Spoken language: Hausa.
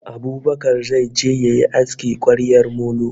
Abubakar zai je yayi aski kwaryar molo